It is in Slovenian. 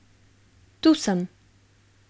Tu sem.